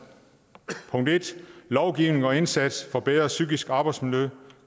lovgivningen og indsatsen for bedre psykisk arbejdsmiljø